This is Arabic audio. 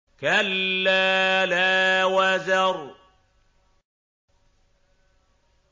كَلَّا لَا وَزَرَ